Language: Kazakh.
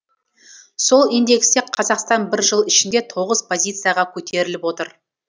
сол индексте қазақстан бір жыл ішінде тоғыз позицияға көтеріліп отыр